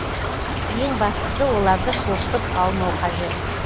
ең бастысы оларды шошытып алмау қажет